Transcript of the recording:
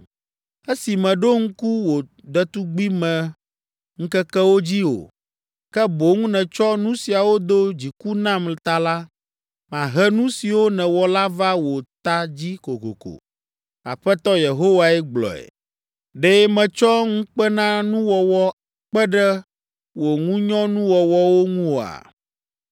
“Esi mèɖo ŋku wò ɖetugbimeŋkekewo dzi o, ke boŋ nètsɔ nu siawo do dziku nam ta la, mahe nu siwo nèwɔ la va wò ta dzi kokoko. Aƒetɔ Yehowae gblɔe. Ɖe mètsɔ ŋukpenanuwɔwɔ kpe ɖe wò ŋunyɔnuwɔwɔwo ŋu oa?